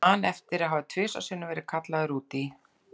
Ég man eftir því að hafa tvisvar sinnum verið kallaður út í